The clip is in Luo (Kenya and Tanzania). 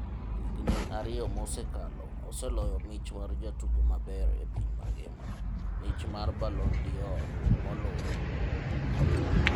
Higni ariyo mosekalo, oseloyo mich mar jatugo maber epiny mangima, mich mar Ballon D'Or, moluore.